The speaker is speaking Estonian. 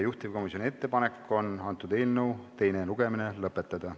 Juhtivkomisjoni ettepanek on eelnõu teine lugemine lõpetada.